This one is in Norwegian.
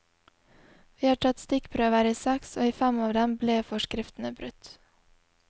Vi har tatt stikkprøver i seks, og i fem av dem ble forskriftene brutt.